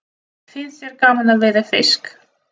Finnst þér gaman að veiða fisk?